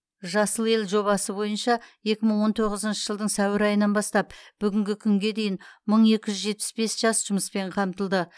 жасыл ел жобасы бойынша екі мың он тоғызыншы жылдың сәуір айынан бастап бүгінгі күнге дейін мың екі жүз жетпіс бес жас жұмыспен қамтылды